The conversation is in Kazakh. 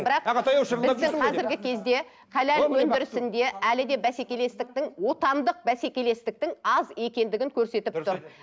бірақ ағатай ау шырылдап қазіргі кезде халал өндірісінде әлі де бәсекелестіктің отандық бәсекелестіктің аз екендігін көрсетіп тұр